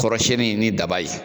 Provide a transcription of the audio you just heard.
Kɔrɔsiyɛnni ni daba ye